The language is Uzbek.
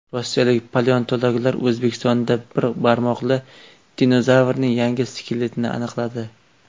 Rossiyalik paleontologlar O‘zbekistondan bir barmoqli dinozavrning yangi skeletini aniqladi.